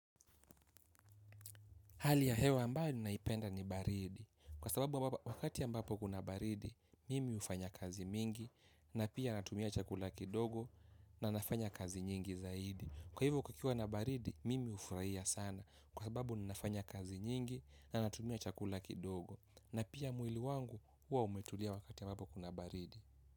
Hali ya hewa ambayo ninaipenda ni baridi kwa sababu wakati ambapo kuna baridi mimi ufanya kazi mingi na pia natumia chakula kidogo na nafanya kazi nyingi zaidi. Kwa hivo kukiwa na baridi mimi ufraia sana kwa sababu ninafanya kazi nyingi na natumia chakula kidogo na pia mwili wangu huwa umetulia wakati ambapo kuna baridi.